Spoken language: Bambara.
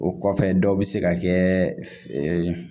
O kɔfɛ dɔw bɛ se ka kɛ